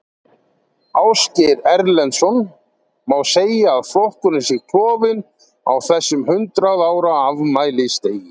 Ásgeir Erlendsson: Má segja að flokkurinn sé klofinn á þessum hundrað ára afmælisdegi?